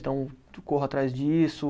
Então, corro atrás disso.